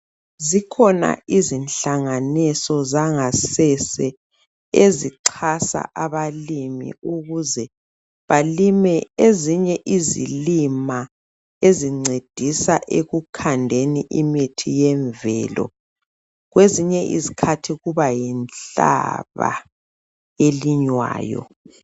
Zikhona izihlanganiso zangasese ezixhasa abalimi ukuze balime ezinye izilima ezincedisa ekukhandeni imithi yemvelo kwezinye izikhathi kuba yinhlaba elinywayo